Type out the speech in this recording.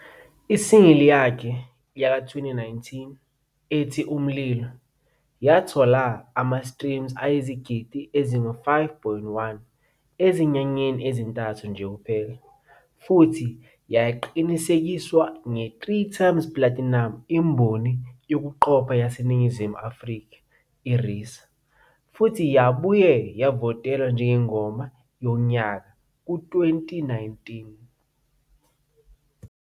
I-single yakhe ye-2019 ethi "Umlilo" yathola ama-streams ayizigidi ezingu-5.1 ezinyangeni ezintathu nje kuphela, futhi yaqinisekiswa nge-3x platinum imboni yokuqopha yaseNingizimu Afrika, RISA, futhi yabuye yavotelwa njengeNgoma Yonyaka ka-2019.